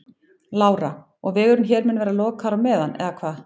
Lára: Og vegurinn hér mun vera lokaður á meðan eða hvað?